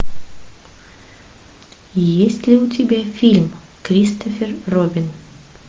есть ли у тебя фильм кристофер робин